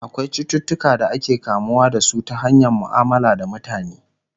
akwai cututuka da ake kamuwa da su ta hanyar muamala da mutane